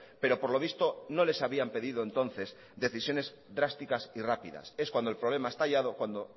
pero por lo visto no les habían pedido entonces decisiones drásticas y rápidas es cuando el problema ha estallado cuando